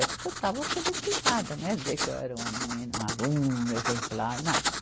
É porque eu estava alfabetizada, não é dizer que eu era uma menina, um aluno, exemplar, nada.